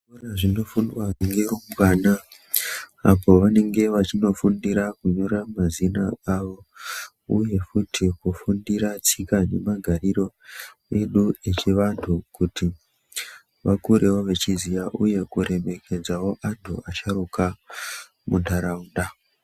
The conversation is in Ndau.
Kune zvinofundwa ngerumbwana apo vanenge vachinofundira kunyora mazina avo uye futi kufundira tsika nemagariro edu echivantu kuti vakurewo vachiziya uye kuremekedzawo antu asharuka muntaraunda.